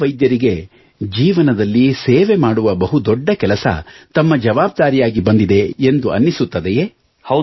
ಎಲ್ಲ ವೈದ್ಯರಿಗೆ ಜೀವನದಲ್ಲಿ ಸೇವೆ ಮಾಡುವ ಬಹು ದೊಡ್ಡ ಕೆಲಸ ತಮ್ಮ ಜಾವಾಬ್ದಾರಿಯಾಗಿ ಬಂದಿದೆ ಎಂದು ಅನ್ನಿಸುತ್ತದೆಯೇ